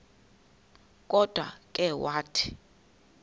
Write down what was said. kodwa ke wathi